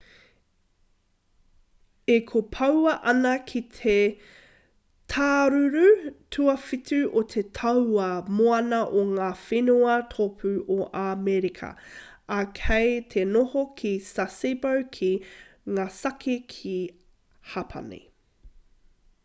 e kopoua ana ki te tāruru tuawhitu o te tauā moana o ngā whenua tōpū o amerika ā kei te noho ki sasebo ki nagasaki ki hapani